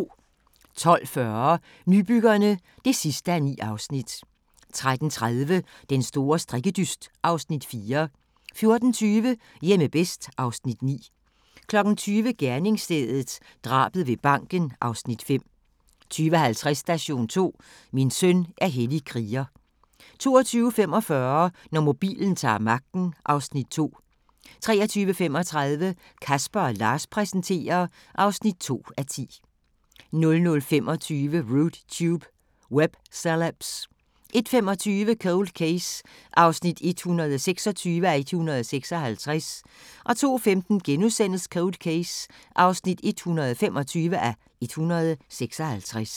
12:40: Nybyggerne (9:9) 13:30: Den store strikkedyst (Afs. 4) 14:20: Hjemme bedst (Afs. 9) 20:00: Gerningsstedet – drabet ved banken (Afs. 5) 20:50: Station 2: Min søn er hellig kriger 22:45: Når mobilen ta'r magten (Afs. 2) 23:35: Casper & Lars præsenterer (2:10) 00:25: Rude Tube – Web Celebs 01:25: Cold Case (126:156) 02:15: Cold Case (125:156)*